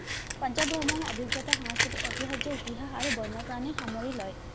পাঞ্জাৱ ভ্ৰমণ অভিজ্ঞতা সাংস্কৃতিক ঐতিহায্যৰ ইতিহাস আৰু বন্যপ্ৰাণীৰ সামৰি লয়।